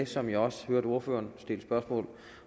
som jeg også hørte ordføreren stille spørgsmål